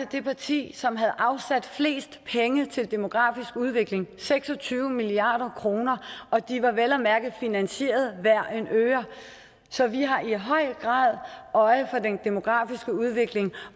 det parti som havde afsat flest penge til demografisk udvikling seks og tyve milliard kr og de var vel at mærke finansieret hver en øre så vi har i høj grad øje for den demografiske udvikling